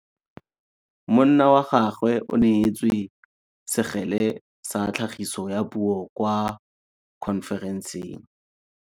Monna wa gagwe o neetswe sekgele sa tlhagisô ya puo kwa khonferenseng.